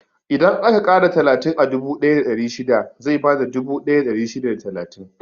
Idan aka ƙara talatin a dubu ɗaya da ɗari shida, zai bada dubu ɗaya da ɗari shida da talatin.